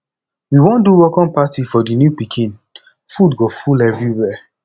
we wan do welcome party for di new pikin food go full everywhere